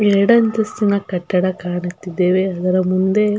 ಎರಡಂತಸ್ತಿನ ಕಟ್ಟಡ ಕಾಣುತ್ತಿದ್ದೇವೆ ಅದರ ಮುಂದೆ --